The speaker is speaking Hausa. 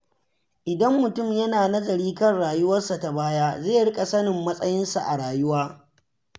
Idan mutum yana nazari kan rauwarsa ta baya, zai riƙa sanin matsayinsa a rayuwa.